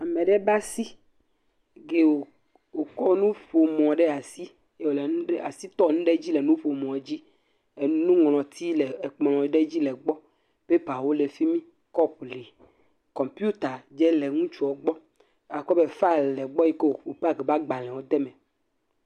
Ama ɖe ƒe asi… wòkɔ nuƒomɔ ɖe asi ye wòle wòle asi tɔ nu ɖe dzi le nuƒomɔ dzi. Nuŋlɔti le ekplɔ̃ ɖe dzi le egbɔ. Pepawo le fi mi. Kɔpu le. Kɔmpiuta dzé le ŋutsuɔ gbɔ. Akpɔ be faɛl le egbɔ yi ke wò paaki eƒe agbalẽwo ɖe eme.